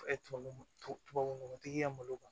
Tubabu tubabu nɔgɔtigi ka malo kan